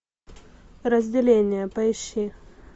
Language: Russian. разделение поищи